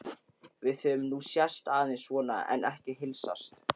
Við höfum nú sést aðeins svona en ekki heilsast.